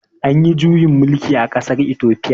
Anyi juyin mulki a ƙasar itofiya